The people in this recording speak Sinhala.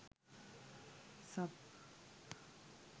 sup